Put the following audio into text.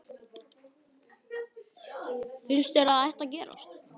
Finnst þér að það ætti að gerast?